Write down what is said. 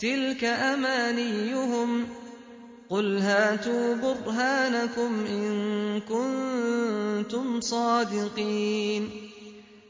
تِلْكَ أَمَانِيُّهُمْ ۗ قُلْ هَاتُوا بُرْهَانَكُمْ إِن كُنتُمْ صَادِقِينَ